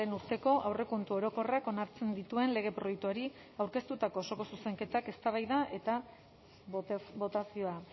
urteko aurrekontu orokorrak onartzen dituen lege proiektuari aurkeztutako osoko zuzenketak eztabaida eta botazioa